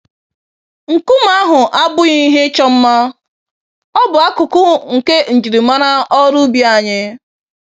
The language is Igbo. Nkume ahụ abụghị ihe ịchọ mma - ọ bụ akụkụ nke njirimara ọrụ ubi anyị.